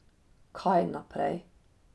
Kaj naprej?